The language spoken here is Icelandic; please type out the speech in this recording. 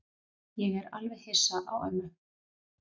Ég er alveg hissa á ömmu.